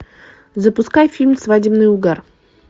запускай фильм свадебный угар